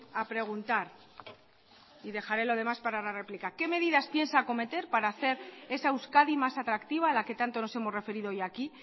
a preguntar y dejaré lo demás para la réplica que medidas piensa acometer para hacer esa euskadi más atractiva a la que tanto nos hemos referido hoy aquí